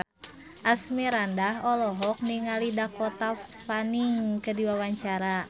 Asmirandah olohok ningali Dakota Fanning keur diwawancara